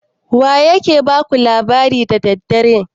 Wa ya ke ba ku labari da dare?